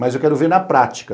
Mas eu quero ver na prática.